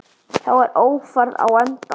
Þá er Ófærð á enda.